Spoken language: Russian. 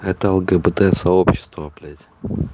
это лгбт-сообщество блять